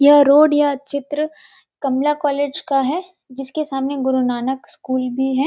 यह रोड या चित्र कमला कॉलेज का है जिसके सामने गुरु नानक स्कूल भी है।